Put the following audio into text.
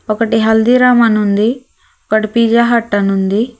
ఒకటి హల్దీరామ్ అని ఉంది ఒకటి పిజ్జా హార్ట్ అని ఉంది.